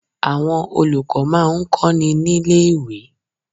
Àwọn olùkọ́ má a ń kó ni ní lé ìwé